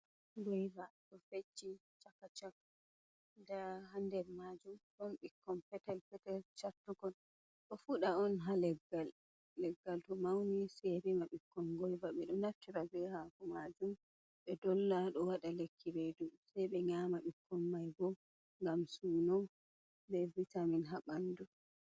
Goiva ɗo fecci chaka chak ɗa ha nder majum ɗon bikkon petel-petel chartukon ɗo fuɗa on ha leggal to mauni sei rima ɓiikkon goiva ɓe ɗo naftira ɓe hako majum ɓe dolla ɗo waɗa lekki reɗu sei be nyaama ɓikkon maiɓo ngam suno ɓe vitamin ha ɓanɗu